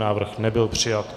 Návrh nebyl přijat.